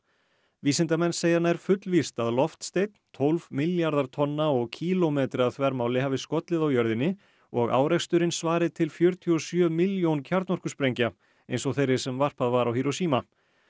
vísindamenn segja nær fullvíst að loftsteinn tólf milljarðar tonna og kílómetri að þvermáli hafi skollið á jörðinni og áreksturinn svari til fjörutíu og sjö milljón kjarnorkusprengja eins og þeirri sem varpað var á Hiroshima